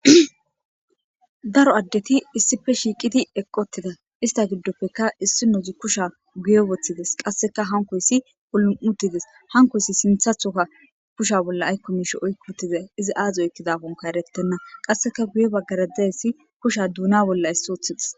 daro addeti issife shiiqiti eqqotida ista giddoppeka issi nozi kusha guye woththides qasseka hankoyssi polu7utides hankoyssi sinthathoka kusha bolla aykkomisho oykkutize izi aazi oykkidaponka erettenna qasseka guye baggara dayssi kusha duuna bolla issi othides.